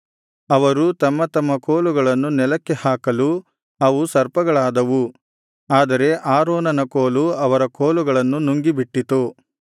ಅವರು ತಮ್ಮ ತಮ್ಮ ಕೋಲುಗಳನ್ನು ನೆಲಕ್ಕೆ ಹಾಕಲು ಅವು ಸರ್ಪಗಳಾದವು ಆದರೆ ಆರೋನನ ಕೋಲು ಅವರ ಕೋಲುಗಳನ್ನು ನುಂಗಿಬಿಟ್ಟಿತು